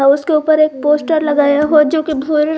उसके ऊपर एक पोस्टर लगाए हो जो की भूरे--